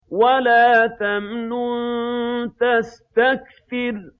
وَلَا تَمْنُن تَسْتَكْثِرُ